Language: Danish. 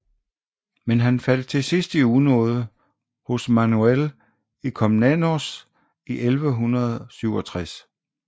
Men han faldt til sidst i unåde hos Manuel I Komnenos i 1167